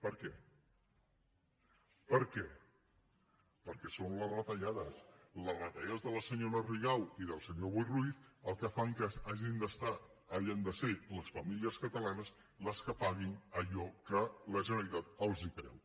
per què perquè són les retallades les retallades de la senyora rigau i del senyor boi ruiz el que fa que hagin de ser les famílies catalanes les que paguin allò que la generalitat els treu